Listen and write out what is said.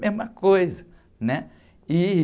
Mesma coisa, né? E...